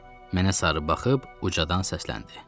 Mənə sarı baxıb ucadan səsləndi: